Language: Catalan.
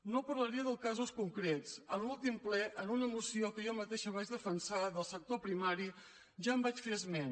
no parlaré de casos concrets en l’últim ple en una moció que jo mateixa vaig defensar del sector primari ja en vaig fer esment